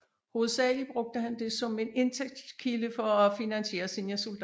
Hovedsagelig brugte han det som en indtægtskilde for at finansiere sine soldater